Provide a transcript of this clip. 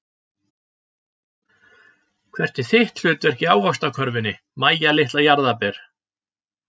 Hvert er þitt hlutverk í ávaxtakörfunni Mæja litla jarðarber?